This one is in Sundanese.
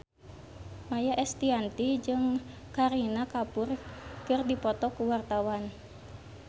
Maia Estianty jeung Kareena Kapoor keur dipoto ku wartawan